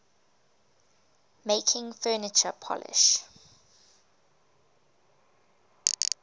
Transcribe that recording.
making furniture polish